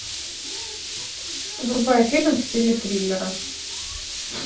врубай фильм в стиле триллера